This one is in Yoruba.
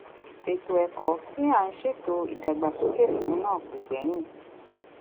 ètò ẹkọ tí à ń ṣètò ìdàgbàsókè fún náà kò gbẹyìn